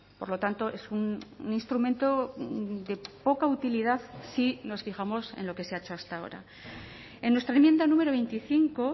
por lo tanto es un instrumento de poca utilidad si nos fijamos en lo que se ha hecho hasta ahora en nuestra enmienda número veinticinco